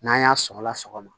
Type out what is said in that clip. N'an y'a sɔgɔla sɔgɔma